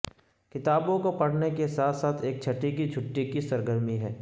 کتابوں کو پڑھنے کے ساتھ ساتھ ایک چھٹی کی چھٹی کی سرگرمی ہے